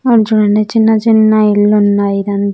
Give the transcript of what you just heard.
అటు చూడండి చిన్న చిన్న ఇళ్లున్నాయి ఇదం--